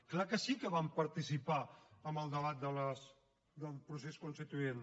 és clar que sí que vam participar en el debat del procés constituent